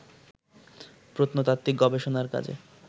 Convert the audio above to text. প্রত্নতাত্ত্বিক গবেষণার কাজে